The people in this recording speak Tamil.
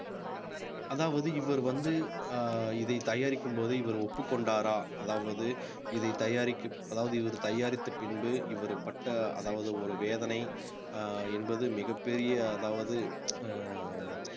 அதாவது இவர் வந்து அஹ் இதை தயாரிக்கும்போது இவர் ஒப்புக் கொண்டாரா அதாவது இதை தயாரிக்~ அதாவது இவர் தயாரித்த பின்பு இவர் பட்ட அதாவது ஒரு வேதனை அஹ் என்பது மிகப்பெரிய அதாவது அஹ்